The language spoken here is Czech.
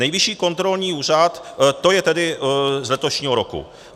Nejvyšší kontrolní úřad - to je tedy z letošního roku.